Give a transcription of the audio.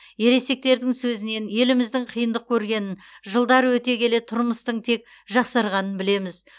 ересектердің сөзінен еліміздің қиындық көргенін жылдар өте келе тұрмыстың тек жақсарғанын білеміз